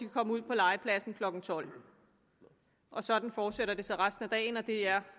komme ud på legepladsen klokken tolvte sådan fortsætter det så resten af dagen og det er